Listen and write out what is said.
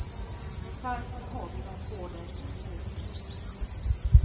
Varför har du dem på dig när du åker?